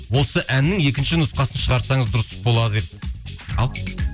осы әннің екінші нұсқасын шығарсаңыз дұрыс болар еді ал